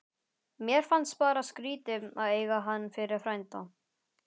Mér fannst bara skrítið að eiga hann fyrir frænda.